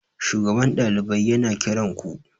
shugaban ɗalibai yana kiranku?